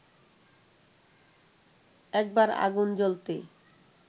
একবার আগুন জ্বলতে